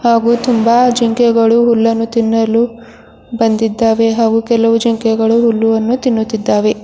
ಹಾಗೂ ತುಂಬಾ ಜಿಂಕೆಗಳು ಹುಲ್ಲನ್ನು ತಿನ್ನಲು ಬಂದಿದ್ದಾವೆ ಹಾಗೂ ಕೆಲವು ಜಿಂಕೆಗಳು ಹುಲ್ಲುವನ್ನು ತಿನ್ನುತ್ತಿದ್ದಾವೆ.